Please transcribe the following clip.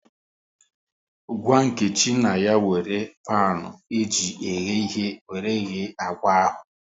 Gwa Nkechi na ya wéré panu eji eghe ighe wéré ghee akwa ahụ